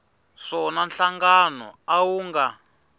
swona nhlangano a wu nga